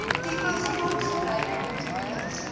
tipe grondgebruik ontmoedig